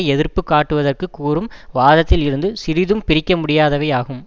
எதிர்ப்பு காட்டுவதற்கு கூறும் வாதத்தில் இருந்து சிறிதும் பிரிக்க முடியாதவை ஆகும்